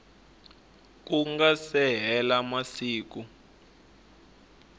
ku nga se hela masiku